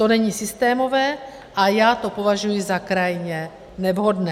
To není systémové a já to považuji za krajně nevhodné.